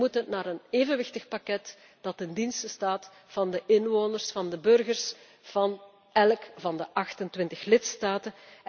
deel. Wij moeten naar een evenwichtig pakket dat ten dienste staat van de inwoners, van de burgers van elk van de 28 lidstaten.